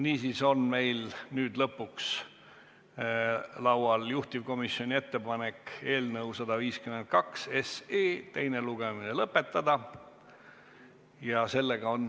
Niisiis on meil nüüd lõpuks laual juhtivkomisjoni ettepanek eelnõu 152 teine lugemine lõpetada.